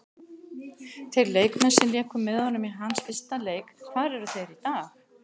Þeir leikmenn sem léku með honum í hans fyrsta leik, hvar eru þeir í dag?